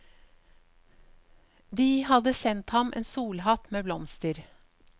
De hadde sendt ham en solhatt med blomster.